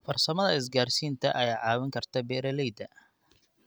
Farsamada isgaadhsiinta ayaa caawin karta beeralayda.